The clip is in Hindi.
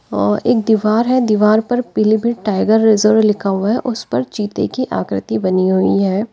अ एक दीवार है। दीवार पर पीलीभीत टाइगर रिज़र्व लिखा है। उस पर चीते की आकृति बनी हुई है।